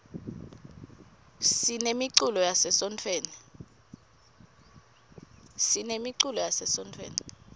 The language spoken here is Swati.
sinemiculo yase sontfweni